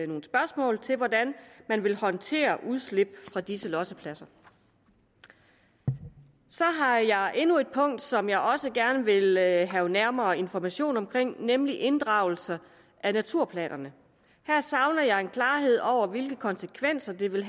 nogle spørgsmål til hvordan man vil håndtere udslip fra disse lossepladser jeg har endnu et punkt som jeg også gerne vil have nærmere information omkring nemlig inddragelse af naturplanerne her savner jeg en klarhed over hvilke konsekvenser det vil